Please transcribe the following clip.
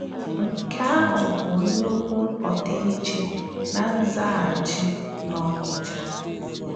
Nke ahụ bụ nnukwu ọdịiche na nzaghachi n’Ọnịcha!